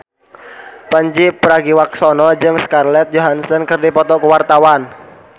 Pandji Pragiwaksono jeung Scarlett Johansson keur dipoto ku wartawan